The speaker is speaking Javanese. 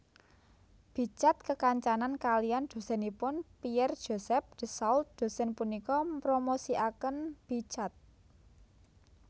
Bichat kekancanan kaliyan dosenipun Pierre Joseph Désault dosen punika mpromosikanken Bichat